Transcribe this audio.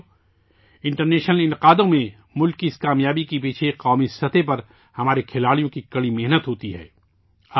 ساتھیو، بین الاقوامی انعقاد ات میں ملک کی اس کامیابی کے پیچھے قومی سطح پر ہمارے کھلاڑیوں کی سخت محنت ہوتی ہے